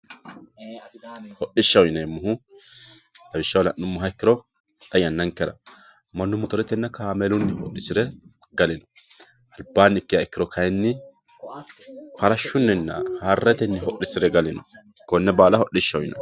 Hodhishaho yinnemohu lawishaho la'numo ikkiro xa yananikera manu motoretenna kaamelunni hodhisire galino alibanni ikkiha ikkiro kayinni farashinninna harichunni hodhisire galino kone baala hodhishaho yinnanni